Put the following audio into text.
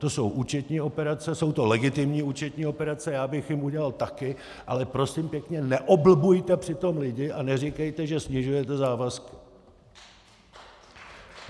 To jsou účetní operace, jsou to legitimní účetní operace, já bych je udělal taky, ale prosím pěkně, neoblbujte přitom lidi a neříkejte, že snižujete závazky.